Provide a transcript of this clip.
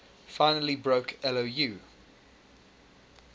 finally broke lou